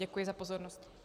Děkuji za pozornost.